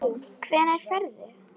Hvenær ferðu?